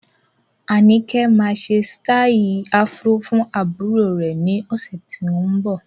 Anike máa ṣe sítai afro fún àbúrò rè ni ọ̀sẹ̀ tó ń bọ̀.